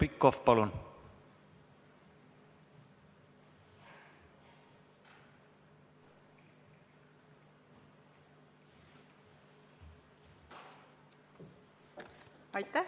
Heljo Pikhof, palun!